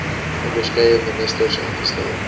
onderskeie ministers aangestel